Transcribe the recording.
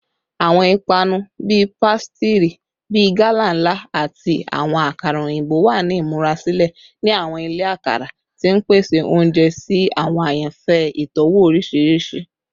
Awọn ipanu pasitiri bii gala nla ati awọn akara oyinbo wa ni imurasilẹ ni awọn ile akara, ti n pese ounjẹ si awọn ayanfẹ itọwo oriṣiriṣi.